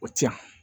O ti yan